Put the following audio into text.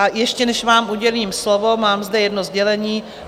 A ještě než vám udělím slovo, mám zde jedno sdělení.